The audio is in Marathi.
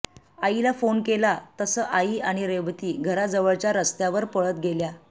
आईला फोन केला तसं आई आणि रेवती घराजवळच्या रस्त्यावर पळत गेल्या